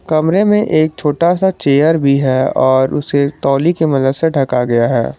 कमरे में एक छोटा सा चेयर भी है और उसे तौलि की मदद से ढका गया है।